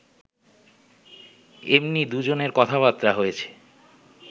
এমনি দুজনের কথাবার্তা হয়েছে